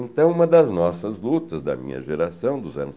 Então, uma das nossas lutas, da minha geração, dos anos